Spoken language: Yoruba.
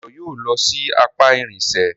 Dayo yóò ló sì apá irinṣẹ́